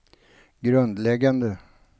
grundläggande